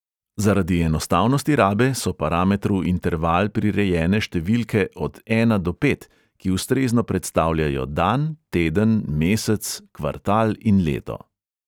Zaradi enostavnosti rabe so parametru interval prirejene številke od ena do pet, ki ustrezno predstavljajo dan, teden, mesec, kvartal in leto.